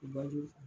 U ba do